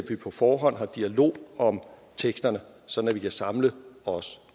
vi på forhånd har dialog om teksterne så vi kan samle os